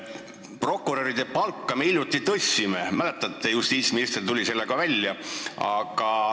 Prokuröride palka me hiljuti tõstsime – mäletate, justiitsminister tuli sellega välja.